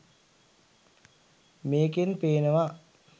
මේකෙන් පේනවා